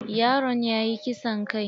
Yaron yayi kisan kai.